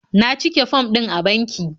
Na cike fom din a banki.